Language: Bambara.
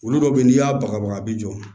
Olu dɔw be ye n'i y'a bagabaga a bi jɔ